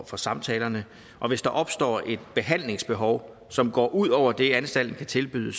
for samtalerne og hvis der opstår et behandlingsbehov som går ud over det anstalten kan tilbyde